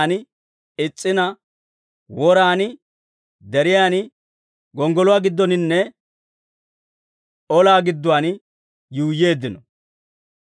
Unttunttoo ha alamii giigennaan is's'ina, woraan, deriyaan, gonggoluwaa giddoninne ollaa gidduwaan yuuyyeeddino.